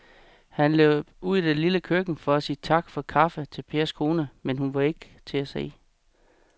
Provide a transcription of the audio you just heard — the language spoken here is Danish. Han løb ud i det lille køkken for at sige tak for kaffe til Pers kone, men hun var ikke til at se.